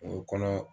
O kɔnɔ